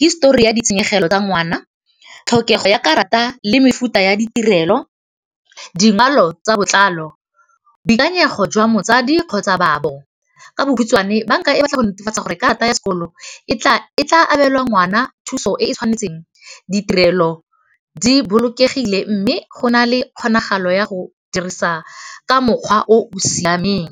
hisetori ya ditshenyegelo tsa ngwana. Tlhokego ya karata le mefuta ya ditirelo, dibalo tsa botlalo, boikanyego jwa motsadi kgotsa babo, ka bokhutswane banka e batla go netefatsa gore karata ya sekoloto e tla abelwa ngwana thuso e e tshwanetseng, ditirelo di bolokegile mme go na le kgonagalo ya go dirisa ka mokgwa o siameng.